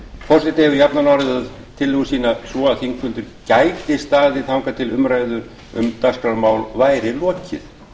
forseti hefur jafnan orðað tillögu sína svo að þingfundir gætu staðið þangað til umræðu um dagskrármál væru lokið